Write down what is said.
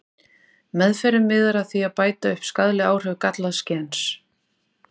Meðferðin miðar að því að bæta upp skaðleg áhrif gallaðs gens.